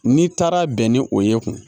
N'i taara bɛn ni o ye kun